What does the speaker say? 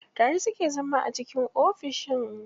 Tare suke zama a ciki ofishin.